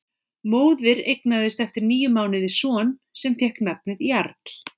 Móðir eignaðist eftir níu mánuði son sem fékk nafnið Jarl.